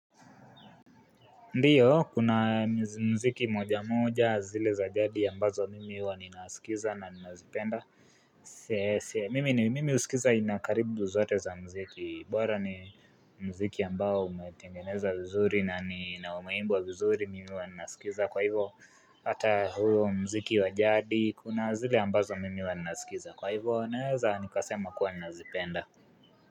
Ndiyo, kuna mziki moja moja zile za jadi ambazo mimi huwa ninasikiza na ninazipenda. Mimi ni mimi huskiza aina karibu zote za mziki. Bora ni mziki ambao umetengenezwa vizuri na ni na umeibwa vizuri mimi waninasikiza. Kwa hivo, hata huo mziki wa jadi, kuna zile ambazo mimi huwa ninasikiza. Kwa hivyo, naweza nikasema kuwa nazipenda.